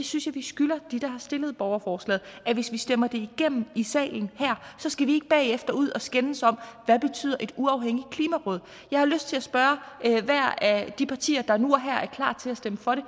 synes jeg vi skylder dem der har stillet borgerforslaget at hvis vi stemmer det igennem i salen her skal vi bagefter ud og skændes om hvad betyder et uafhængigt klimaråd jeg har lyst til at spørge hvert af de partier der nu og her er klar til at stemme for det